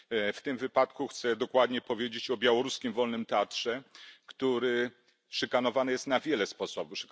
W tym wypadku chcę dokładnie powiedzieć o białoruskim wolnym teatrze, który szykanowany jest na wiele sposobów.